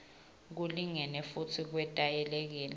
kulingene futsi kwetayelekile